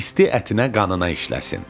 İsti ətinə qanına işləsin.